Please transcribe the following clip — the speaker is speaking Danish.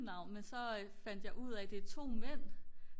navn men så fandt jeg ud af at det er 2 mænd